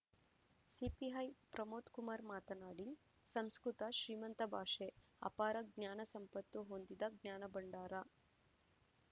CPI Pramod Kumar ಮಾತನಾಡಿ ಸಂಸ್ಕೃತ ಶ್ರೀಮಂತ ಭಾಷೆ ಅಪಾರ ಜ್ಞಾನಸಂಪತ್ತು ಹೊಂದಿದ ಜ್ಞಾನಭಂಡಾರ